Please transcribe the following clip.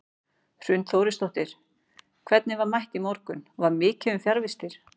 Hrund Þórisdóttir: Hvernig var mætt í morgun, var mikið um fjarvistir?